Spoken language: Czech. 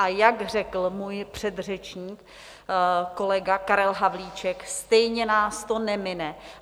A jak řekl můj předřečník, kolega Karel Havlíček, stejně nás to nemine.